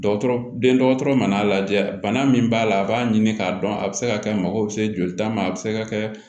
Dɔgɔtɔrɔ den dɔgɔtɔrɔ mana lajɛ bana min b'a la a b'a ɲini k'a dɔn a bɛ se ka kɛ mago bɛ se jolita ma a bɛ se ka kɛ